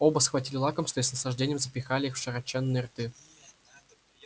оба схватили лакомства и с наслаждением запихали их в широченные рты